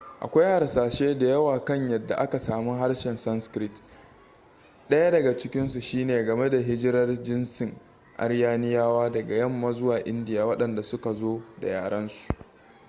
akwai hasashe da yawa kan yadda aka sami harshen sanskrit ɗaya daga cikinsu shine game da hijirar jinsin aryaniyawa daga yamma zuwa india waɗanda suka zo da yarensu